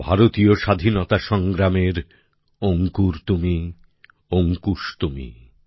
ভারতীয় স্বাধীনতা সংগ্রামের অংকুর তুমি অঙ্কুশ তুমি